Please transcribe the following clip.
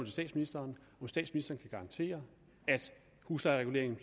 statsministeren garantere at huslejereguleringen